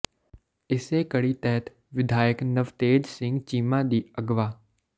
ਇਸੇ ਕੜੀ ਤਹਿਤ ਵਿਧਾਇਕ ਨਵਤੇਜ ਸਿੰਘ ਚੀਮਾ ਦੀ ਅਗਵਾ